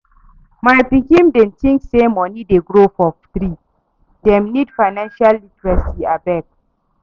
My pikin dem tink sey moni dey grow for tree, dem need financial literacy abeg.